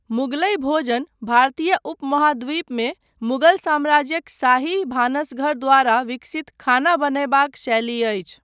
मुगलई भोजन भारतीय उपमहाद्वीपमे मुगल साम्राज्यक शाही भानसघर द्वारा विकसित खाना बनयबाक शैली अछि।